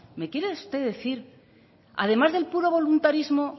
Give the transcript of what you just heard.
me quiere usted decir además del puro voluntarismo